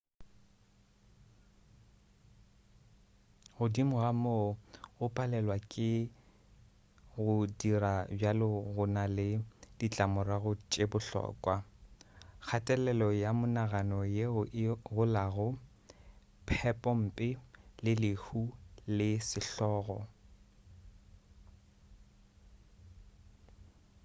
godimo ga moo go palelwa ke go dira bjalo go na le ditlamorago tše bohlokwa kgatelelo ya monagano yeo e golago phepompe le lehu le sehlogo